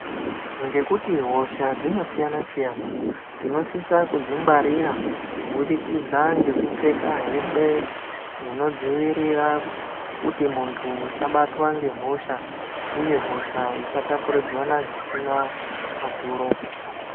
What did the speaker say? Ngekuti hosha dzinosiyana siyana tinosise kudzingwarira kubudikidza ngekupfeka hembe dzinodzivirira